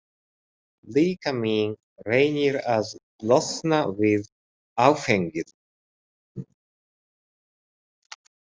Líkaminn reynir að losna við áfengið.